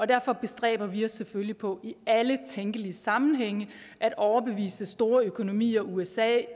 derfor bestræber vi os selvfølgelig på i alle tænkelige sammenhænge at overbevise store økonomier usa